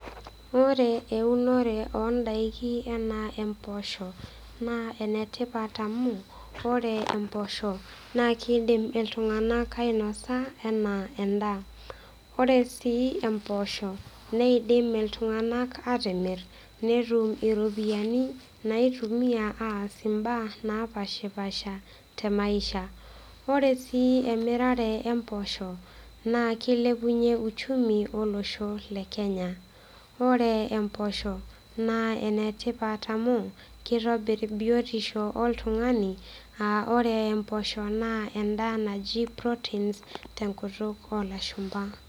Ore eunore ondaiki anaa imposho naa enetipat amu ore imposho naa kidim iltunganak ainosa enaa endaa, ore sii emposho neidim iltunganak atimir netum iropiyiani naitumia aas imbaa napashpasha temaishai. Ore sii emirare omposho naa kilepunyie uchumi olosho le kenya. Ore emposho naa enetipat amu kitobir biotisho oltungani aa ore imposho naa endaa naji proteins tenkutuk olashumba.